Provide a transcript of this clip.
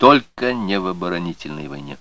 только не в оборонительной войне